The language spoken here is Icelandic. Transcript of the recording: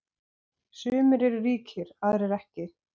Sumir eru ríkir, aðrir ekki.